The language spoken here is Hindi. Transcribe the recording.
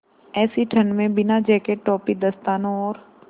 ऐसी ठण्ड में बिना जेकेट टोपी दस्तानों और